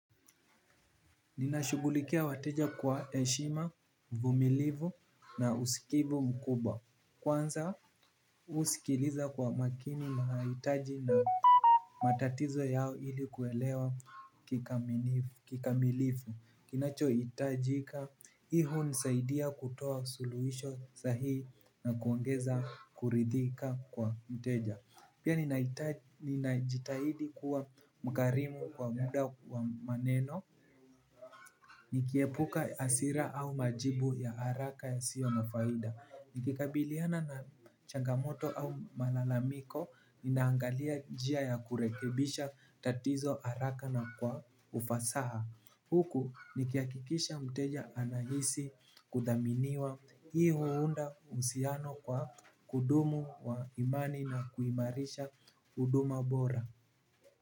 Ninashugulikia wateja kwa eshima, uvumilivu na usikivu mkubwa. Kwanza usikiliza kwa makini naitaji na matatizo yao ili kuelewa kikamilifu. Kinacho itajika, i hunisaidia kutoa suluhisho sahihi na kuongeza kuridhika kwa mteja. Pia ninajitahidi kuwa mkarimu kwa muda wa maneno. Nikiepuka asira au majibu ya haraka yasio na faida. Nikikabiliana na changamoto au malalamiko, ninaangalia jia ya kurekebisha tatizo haraka na kwa ufasaha. Huku nikia kikisha mteja anahisi kudaminiwa hii huunda usiano wa kudumu wa imani na kuimarisha uduma bora.